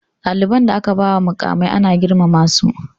Ɗaliban da aka bawa muƙamai ana girmama su